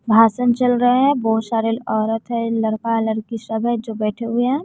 भाषण चल रहा है बहोत सारे औरत है लरका लरकी सब है जो बैठे हुए हैं।